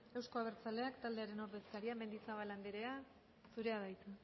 euzko abertzaleak taldearen ordezkaria mendizabal andrea zurea da hitza